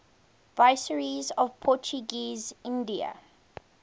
viceroys of portuguese india